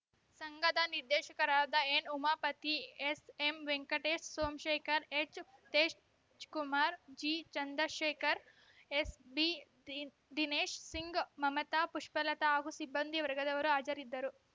ಸಂಘದ ನಿರ್ದೇಶಕರಾದ N Umapathi ಎಸ್‌ಎಂವೆಂಕಟೇಶ್‌ Somashekar H Tej Kumar G Chandrashekhar SB ದಿನ್ ದಿನೇಶ್‌ಸಿಂಗ್‌ ಮಮತಾ ಪುಷ್ಪಲತಾ ಹಾಗೂ ಸಿಬ್ಬಂದಿ ವರ್ಗದವರು ಹಾಜರಿದ್ದರು